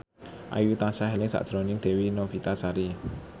Ayu tansah eling sakjroning Dewi Novitasari